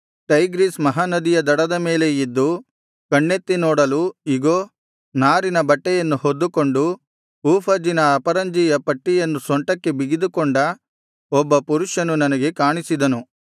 Tigris ಮಹಾನದಿಯ ದಡದ ಮೇಲೆ ಇದ್ದು ಕಣ್ಣೆತ್ತಿ ನೋಡಲು ಇಗೋ ನಾರಿನ ಬಟ್ಟೆಯನ್ನು ಹೊದ್ದುಕೊಂಡು ಊಫಜಿನ ಅಪರಂಜಿಯ ಪಟ್ಟಿಯನ್ನು ಸೊಂಟಕ್ಕೆ ಬಿಗಿದುಕೊಂಡ ಒಬ್ಬ ಪುರುಷನು ನನಗೆ ಕಾಣಿಸಿದನು